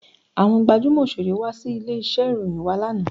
Àwọn gbajúmò Òṣeré wá sí ilé iṣẹ́ ìròyìn wá lánàá.